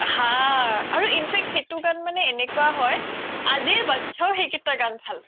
হা আৰু in fact সেইতো গান মানে এনেকুৱা হয় আজিৰ বাত্চাও সেই কেইতা গান ভাল পাই